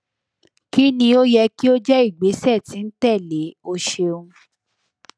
kini o yẹ ki o jẹ igbesẹ ti n tẹle o ṣeun